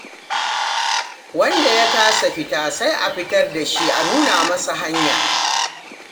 Wanda ya kasa fita, sai a fitar da shi a nuna masa hanya.